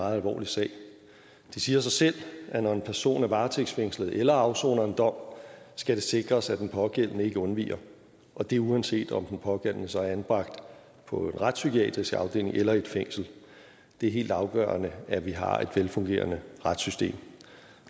meget alvorlig sag det siger selv at når en person er varetægtsfængslet eller afsoner en dom skal det sikres at den pågældende ikke undviger og det er uanset om den pågældende så er anbragt på en retspsykiatrisk afdeling eller i et fængsel det er helt afgørende at vi har et velfungerende retssystem